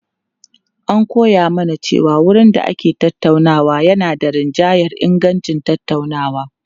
An koya mana cewa wurin da ake tattaunawa yana rinjayar ingancin tattaunawa.